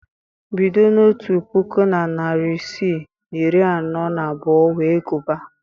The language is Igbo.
Bido n'otu puku na narị isii na iri anọ na abụọ wee gụbaa